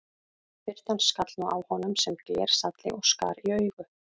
Birtan skall nú á honum sem glersalli og skar í augu.